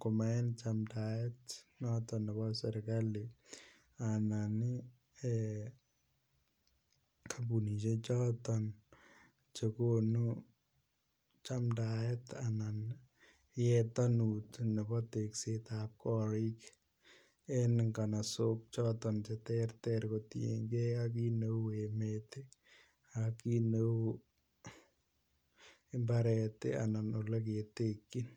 ko maen chamdaet noton nebo serkali anan en kampunisiek choton chegonu chamdaet anan yetanut nebo tekset ab korik en nganasok choton Che terter kotienge ak kit neu emet ak kit neu mbaret anan Ole ketekyin